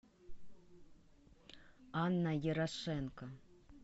анна ярошенко